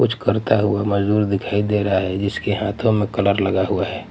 कुछ करता हुआ मजदूर दिखाई दे रहा है जिसके हाथों में कलर लगा हुआ है.